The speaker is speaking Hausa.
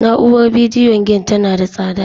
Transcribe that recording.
Na'urar bidiyo game tana da tsada